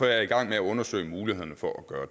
jeg i gang med at undersøge mulighederne for at gøre